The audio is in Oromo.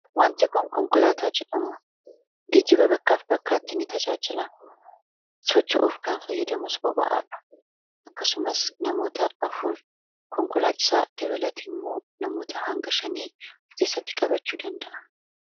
Wanti kun konkolaataa jedhama. Geejiba bakkaaf bakkaatti ni tajaajila socha'uuf kan fayyadamus boba'aadha akkasumas namoota afuur konkolaachisaa dabalate immoo namoota hanga shanii of keessatti qabachuu danda'aa.